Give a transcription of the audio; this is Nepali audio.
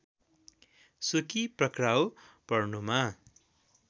सुकी पक्राउ पर्नुमा